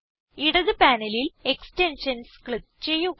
ഇടത് പാനലിൽ extensions click ചെയ്യുക